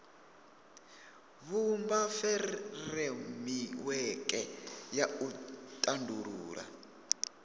vhumba furemiweke ya u tandulula